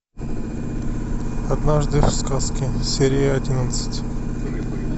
однажды в сказке серия одиннадцать